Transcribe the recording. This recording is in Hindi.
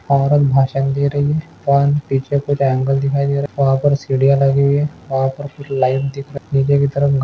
औरत भाषण दे रही है और पीछे कुछ ऐंगल दिखाई दे रहा है वहाँ पर सीढ़ियाँ लगी हुई है वहाँ पर कुछ लाइव दिख रहा निचे की तरफ--